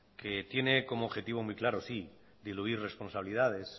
que tiene como objetivo muy claro diluir responsabilidades